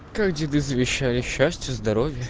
как тебе завещаю счастья